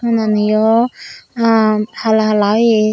tonani yo aanh hala hala oye.